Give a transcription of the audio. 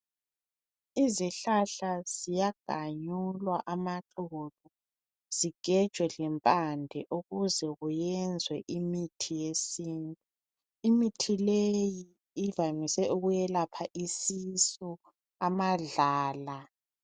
Izihlahla ziyaganyulwa amaxolo, zigejwe lempade ukuze kuyenzwe imithi yesintu. Imithi le ivamise ukwelapha isisu, amadlala.